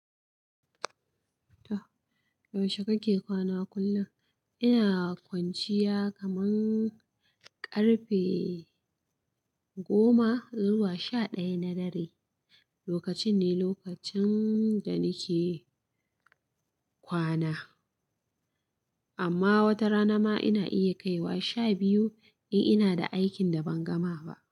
Yaushe kake kwana kullum? Ina kwanciya kaman ƙarfe goma zuwa sha ɗaya na dare. Lokacin ne lokacin da nike kwana. Amma wata rana ma ina iya kaiwa sha biyu, in ina da aikin da ban gama ba.